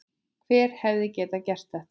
Hver hefði getað gert þetta?